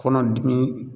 Kɔnɔdimi